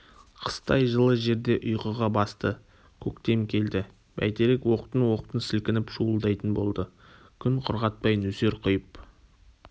қыстай жылы жерде ұйқыға басты көктем келді бәйтерек оқтын-оқтын сілкініп шуылдайтын болды күн құрғатпай нөсер құйып